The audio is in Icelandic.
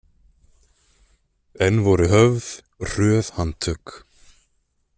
Enn voru höfð hröð handtök.